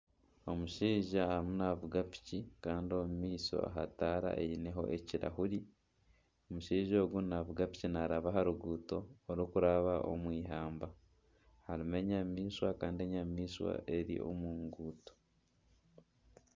Omushaija arimu naavuga piki kandi omu maisho aha taara eineho ekirahuri. Omushaija ogu naavuga piki naaraba aha ruguuto orukuraba omu eihamba. harimu enyamaishwa kandi enyamaishwa eri omu nguuto.